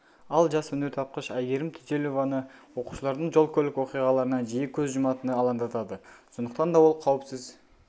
ал жас өнертапқыш айгерім түзелованы оқушылардың жол көлік оқиғаларынан жиі көз жұматыны алаңдатады сондықтанда ол қауіпсіз